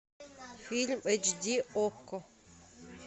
фильм эйч ди окко